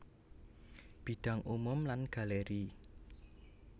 Bidang umum lan galeri